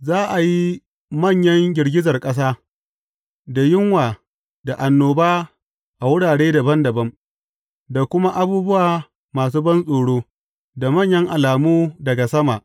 Za a yi manyan girgizar ƙasa, da yunwa, da annoba a wurare dabam dabam, da kuma abubuwa masu bantsoro, da manyan alamu daga sama.